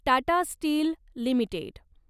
Tata Steel limited